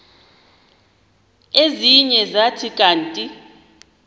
ezinye zathi kanti